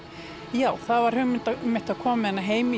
já það var hugmynd að koma með hana heim